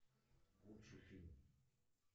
лучший фильм